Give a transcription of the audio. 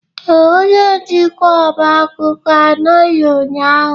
Ee, onye njikwa ọba akwụkwọ anọghị ụnyahụ.